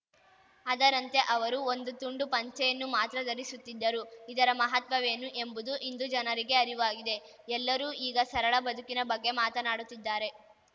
ಅದರಂತೆ ಅವರು ಒಂದು ತುಂಡು ಪಂಚೆಯನ್ನು ಮಾತ್ರ ಧರಿಸುತ್ತಿದ್ದರು ಇದರ ಮಹತ್ವವೇನು ಎಂಬುದು ಇಂದು ಜನರಿಗೆ ಅರಿವಾಗಿದೆ ಎಲ್ಲರೂ ಈಗ ಸರಳ ಬದುಕಿನ ಬಗ್ಗೆ ಮಾತನಾಡುತ್ತಿದ್ದಾರೆ